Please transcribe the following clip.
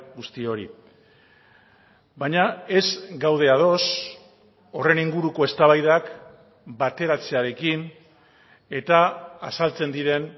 guzti hori baina ez gaude ados horren inguruko eztabaidak bateratzearekin eta azaltzen diren